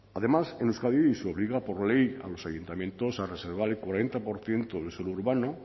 además en euskadi se obliga por ley a los ayuntamientos a reservar el cuarenta por ciento del suelo urbano